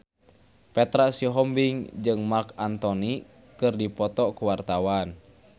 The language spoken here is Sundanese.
Petra Sihombing jeung Marc Anthony keur dipoto ku wartawan